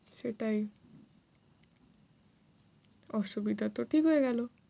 সেটাই। অসুবিধা তো ঠিক হয়ে গেল।